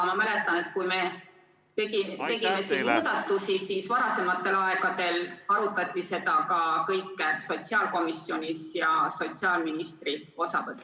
Ma mäletan, et kui me tegime siin muudatusi, siis varasematel aegadel arutati seda kõike ka sotsiaalkomisjonis ja sotsiaalministri osavõtul.